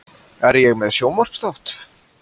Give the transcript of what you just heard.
Er ég með sjónvarpsþátt?